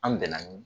An bɛnna